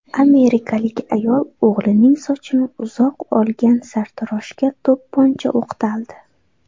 Amerikalik ayol o‘g‘lining sochini uzoq olgan sartaroshga to‘pponcha o‘qtaldi.